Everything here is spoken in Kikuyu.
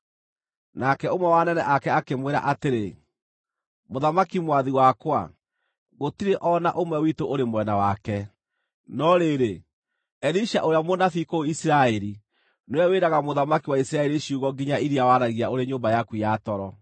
Nake ũmwe wa anene ake akĩmwĩra atĩrĩ, “Mũthamaki mwathi wakwa, gũtirĩ o na ũmwe witũ ũrĩ mwena wake. No rĩrĩ, Elisha ũrĩa mũnabii kũu Isiraeli nĩwe wĩraga mũthamaki wa Isiraeli ciugo nginya iria waragia ũrĩ nyũmba yaku ya toro.”